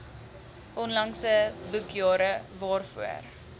onlangse boekjare waarvoor